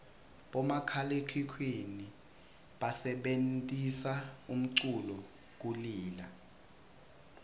bomakhalaekhukhwini basebentisa umculu kulila